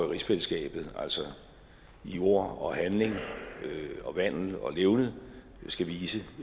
rigsfællesskabet altså i ord og handling og vandel og levned skal vise